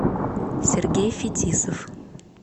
сергей фетисов